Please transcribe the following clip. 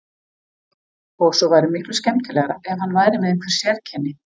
Og svo væri miklu skemmtilegra ef hann væri með einhver sérkenni.